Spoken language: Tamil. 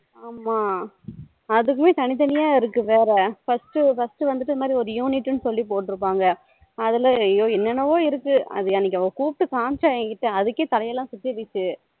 ஆமா அதுக்குமே தனி தனியா இருக்கு வேற first first வந்துட்டு ஒரு unit சொல்லி போட்டுருப்பாங்க அதுல ஐய்யோ என்ன என்னவோ இருக்கு அது அன்னைக்கு என்ன கூப்டு காமிச்சா அன்னைக்கு அதுகே தலை எல்லாம் சுத்திடுச்சி